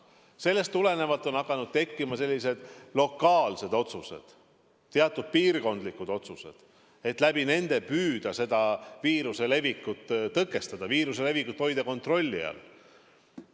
Sellest tulenevalt on hakanud tekkima lokaalsed, piirkondlikud otsused, millega püütakse viiruse levikut tõkestada, hoida kontrolli all.